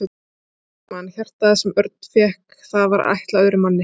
Sólveig Bergmann: Hjartað sem Örn fékk það var ætlað öðrum manni?